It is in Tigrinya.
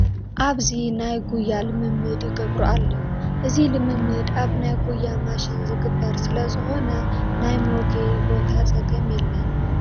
ኣብዚ ናይ ጉያ ልምምድ ይገብሩ ኣለዉ፡፡ እዚ ልምምድ ኣብ ናይ ጉያ ማሽን ዝግበር ስለ ዝኾነ ናይ መጉየዪ ቦታ ፀገም የለን፡፡